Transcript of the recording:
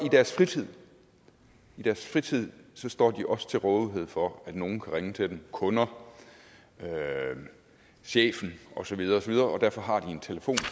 i deres fritid i deres fritid står de så også til rådighed for at nogen kan ringe til dem kunder chefen og så videre videre og derfor har de en telefon